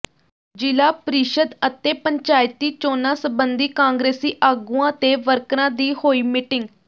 ਜਿਲਾ ਪ੍ਰੀਸ਼ਦ ਅਤੇ ਪੰਚਾਇਤੀ ਚੋਣਾਂ ਸੰਬੰਧੀ ਕਾਂਗਰਸੀ ਆਗੂਆਂ ਤੇ ਵਰਕਰਾਂ ਦੀ ਹੋਈ ਮੀਟਿੰਗ